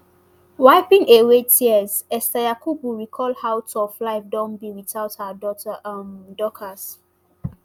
wiping away tears esther yakubu recall how tough life don be without her daughter um dorcas.